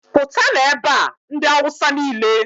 pụtanụ ebe a! ndị awụsa niile